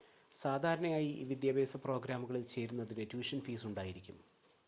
സാധാരണയായി ഈ വിദ്യാഭ്യാസ പ്രോഗ്രാമുകളിൽ ചേരുന്നതിന് ട്യൂഷൻ ഫീസ് ഉണ്ടായിരിക്കും